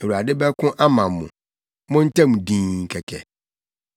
Awurade bɛko ama mo; montɛm dinn kɛkɛ!”